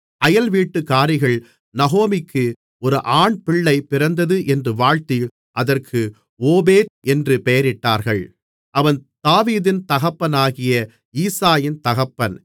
அயல்வீட்டுக்காரிகள் நகோமிக்கு ஒரு ஆண்பிள்ளை பிறந்தது என்று வாழ்த்தி அதற்கு ஓபேத் என்று பெயரிட்டார்கள் அவன் தாவீதின் தகப்பனாகிய ஈசாயின் தகப்பன்